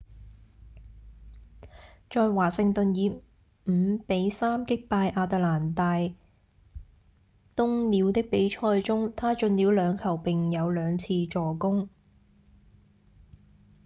在華盛頓以五比三擊敗亞特蘭大鶇鳥的比賽中他進了兩球並有兩次助攻